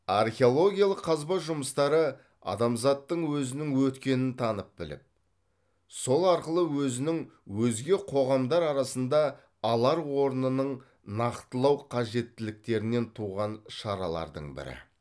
археологиялық қазба жұмыстары адамзаттың өзінің өткенін танып біліп сол арқылы өзінің өзге қоғамдар арасында алар орнының нақтылау қажеттіліктерінен туған шаралардың бірі